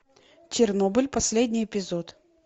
чернобыль последний эпизод